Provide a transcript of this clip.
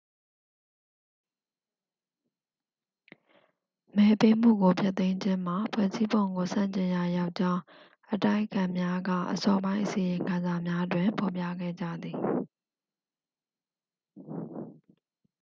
မဲပေးမှုကို ဖျက်သိမ်းခြင်းမှာ ဖွဲ့စည်းပုံကို ဆန့်ကျင်ရာရောကြောင်း အတိုက်အခံများက အစောပိုင်း အစီရင်ခံစာများတွင် ဖော်ပြခဲ့ကြသည်